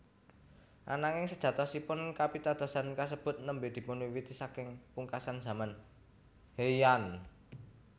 Ananging sejatosipun kapitadosan kasebut nembé dipunwiwiti saking pungkasan zaman Heian